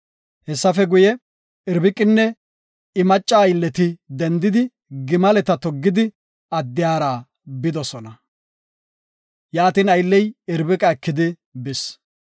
Hessafe guye, Irbiqinne I macca aylleti dendidi, gimaleta toggidi, addiyara bidosona. Yaatin aylley Irbiqa ekidi bis.